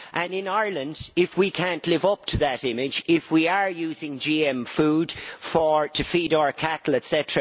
In Ireland, if we cannot live up to that image if we are using GM food to feed our cattle, etc.